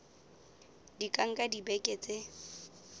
di ka nka dibeke tse